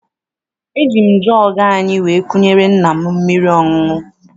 Eji m jọọgụ anyị wee kunyere nna m mmiri ọṅụṅụ.